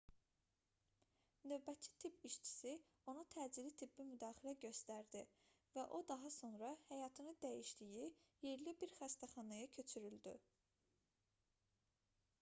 növbətçi tibb işçisi ona təcili tibbi müdaxilə göstərdi və o daha sonra həyatını dəyişdiyi yerli bir xəstəxanaya köçürüldü